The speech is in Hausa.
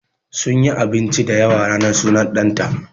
Sunyi abinci da yawa ranar sunan ɗan ta